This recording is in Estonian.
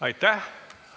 Aitäh!